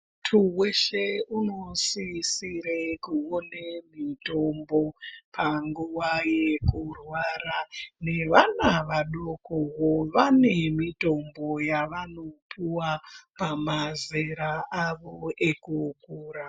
Munthu weshe unosisire kuone mitombo panguwa yekurwara nevana vadoko vane mitombo yavanopuwa pamazera avo ekukura.